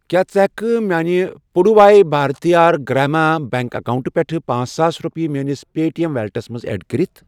کیٛاہ ژٕ ہٮ۪کہٕ کھہ میانہِ پُڈوٗواے بھارتِھیار گرٛاما بیٚنٛک اکاونٹہٕ پٮ۪ٹھٕ پانژھ ساس رۄپیہٕ میٲنِس پے ٹی ایٚم ویلیٹَس منٛز ایڈ کٔرِتھ؟